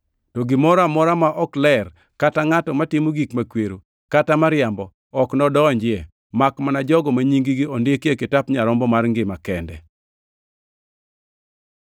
To gimoro amora ma ok ler, kata ngʼato matimo gik makwero, kata mariambo, ok nodonjie, makmana jogo ma nying-gi ondiki e kitap Nyarombo mar ngima kende.